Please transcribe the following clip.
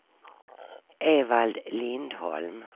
Evald Lindholm